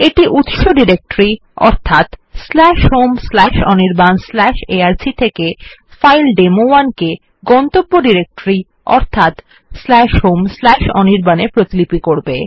এইটা উত্স directory home Anirban arc থেকে ফাইল ডেমো1 কে গন্তব্য ডিরেক্টরি অর্থাৎ হোম অনির্বাণ এ প্রতিপিলি করে